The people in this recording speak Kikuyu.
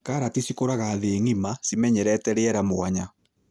Karati cikũragio thĩ ng'ĩma ,cimenyerete rĩera mwanya.